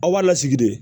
Aw b'a lasigi de